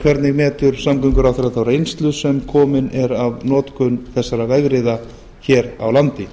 hvernig metur samgönguráðherra þá reynslu sem komin er af notkun þessara vegriða hér á landi